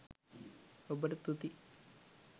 ඔබට තුති